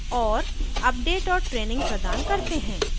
* और अपडेट और training प्रदान करते हैं